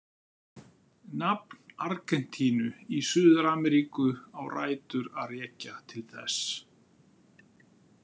Nafn Argentínu í Suður-Ameríku á rætur að rekja til þess.